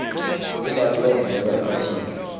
bomake bavunula emahinya